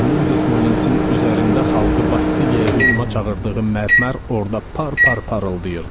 Kamil Desmolinsin üzərində xalqı Bastiliyaya hücuma çağırdığı mərmər orda par-par parıldayırdı.